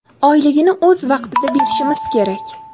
Oyligini o‘z vaqtida berishimiz kerak.